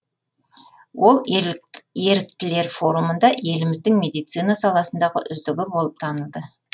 ол еріктілер форумында еліміздің медицина саласындағы үздігі болып танылды